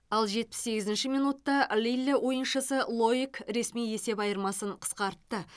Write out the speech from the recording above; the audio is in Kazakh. ал жетпіс сегізінші минутта лилль ойыншысы лоик ресми есеп айырмасын қысқартты